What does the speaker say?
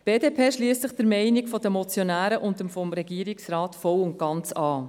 Die BDP schliesst sich der Meinung der Motionäre und des Regierungsrats vollumfänglich an.